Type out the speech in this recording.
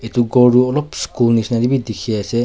etu ghor tu olop school nishna te bhi dekhi ase.